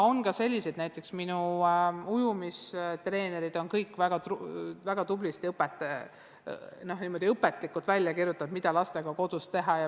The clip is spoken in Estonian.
On ka selliseid treenereid, näiteks minu laste ujumistreenerid, kes on väga tublisti ja õpetlikult välja kirjutanud kõik harjutused, mida lastega kodus teha.